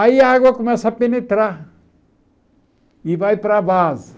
Aí a água começa a penetrar e vai para a base.